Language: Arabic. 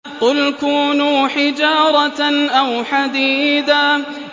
۞ قُلْ كُونُوا حِجَارَةً أَوْ حَدِيدًا